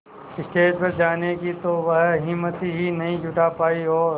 stage पर जाने की तो वह हिम्मत ही नहीं जुटा पाई और